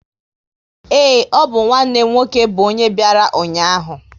Ee, ọ bụ nwanne m nwoke bụ ọnye bịara ụnyaahụ